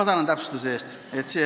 Tänan täpsustuse eest!